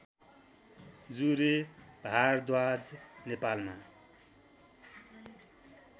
जुरे भारद्वाज नेपालमा